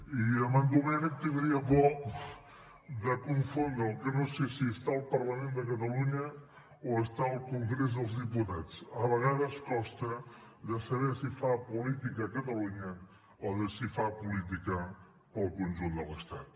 i amb en domènech tindria por de confondre’l que no sé si està al parlament de catalunya o està al congrés dels diputats a vegades costa de saber si fa política a catalunya o si fa política per al conjunt de l’estat